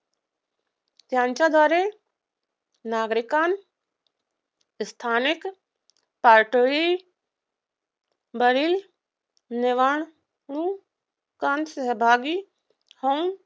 त्यांचाद्वारे नागरिकांना स्थानिक पातळीवर नेऊन सहभागी होऊन